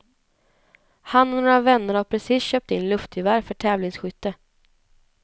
Han och några vänner har precis köpt in luftgevär för tävlingsskytte.